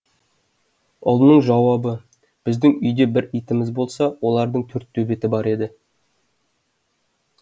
ұлының жауабы біздің үйде бір итіміз болса олардың төрт төбеті бар еді